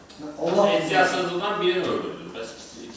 Ər-arvad ikisindən birini öldürdün, bəs ikisi?